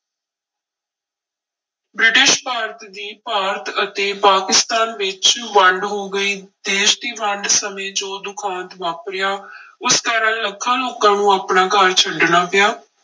British Bharat ਦੀ ਭਾਰਤ ਅਤੇ ਪਾਕਿਸਤਾਨ ਵਿੱਚ ਵੰਡ ਹੋ ਗਈ, ਦੇਸ ਦੀ ਵੰਡ ਸਮੇਂ ਜੋ ਦੁਖਾਂਤ ਵਾਪਰਿਆ ਉਸ ਕਾਰਨ ਲੱਖਾਂ ਲੋਕਾਂ ਨੂੰ ਆਪਣਾ ਘਰ ਛੱਡਣਾ ਪਿਆ।